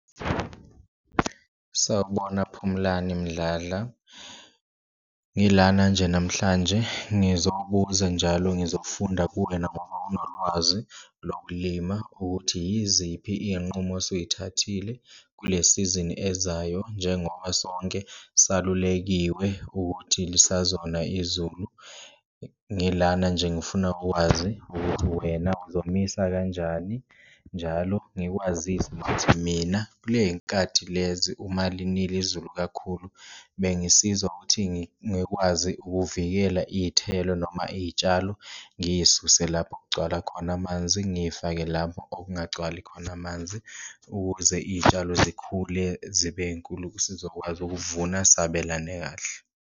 Sawubona Phumlani Mdladla, ngilana nje namhlanje ngizobuza njalo ngizofunda kuwena ngoba unolwazi lokulima ukuthi, yiziphi iyinqumo osuyithathile kule sizini ezayo njengoba sonke salulekiwe ukuthi lisazona izulu. Ngilana nje, ngifuna ukwazi ukuthi wena uzomisa kanjani njalo ngikwazise nokuthi mina kule y'nkathi lezi uma linile izulu kakhulu, bengisiza ukuthi ngikwazi ukuvikela iyithelo noma iyitshalo. Ngiyisuse lapho okugcwala khona amanzi ngiyifake lapho okungagcwali khona amanzi, ukuze iyitshalo zikhule zibe inkulu sizokwazi ukuvuna sabelane kahle.